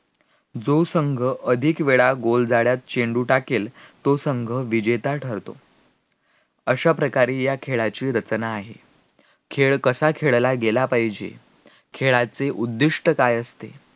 जो संघ अधिक वेळा गोल जाळ्यात चेंडू टाकेल तो संघ विजेता ठरतो अश्या प्रकारे या खेळाची रचना आहे, खेळ कसा खेळला गेला पाहिजे, खेळाचे उद्दिष्ट काय असते